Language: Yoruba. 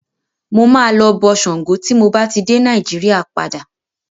Mo máa lọ bọ Ṣàngó tí mo bá ti dé Nàíjíríà padà.